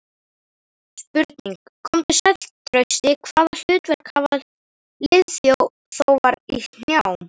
Spurning: Komdu sæll Trausti, Hvaða hlutverk hafa liðþófar í hnjám?